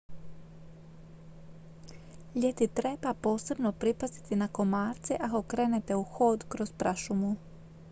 ljeti treba posebno pripaziti na komarce ako krenete u hod kroz prašumu